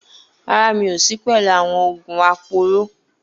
Rárá, mi ò sí pẹ̀lú àwọn oògùn aporó